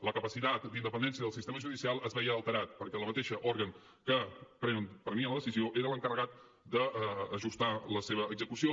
la capacitat d’independència del sistema judicial es veia alterada perquè el mateix òrgan que prenia la decisió era l’encarregat d’ajustar la seva execució